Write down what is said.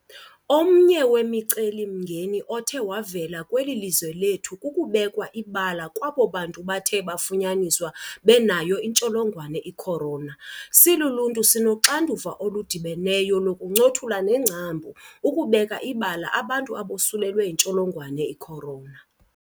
Omnye wemicelimngeni othe wavela kweli lizwe lethu kukubekwa ibala kwabo bantu bathe bafunyaniswa benayo intsholongwane i-corona. Siluluntu, sinoxanduva oludibeneyo lokukuncothula nengcambu ukubeka ibala abantu abosulelwe yintsholongwane i-corona .